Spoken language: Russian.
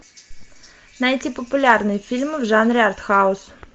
найти популярные фильмы в жанре артхаус